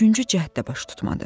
Üçüncü cəhd də baş tutmadı.